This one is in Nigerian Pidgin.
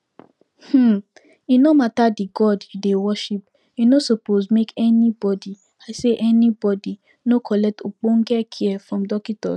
um e nor mata d god u dey worship e nor suppos make anybody i say anybody nor collect ogbonge care from dockitos